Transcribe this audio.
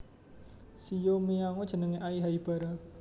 Shiho miyano jeneng Ai Haibara